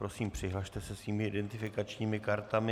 Prosím, přihlaste se svými identifikačními kartami.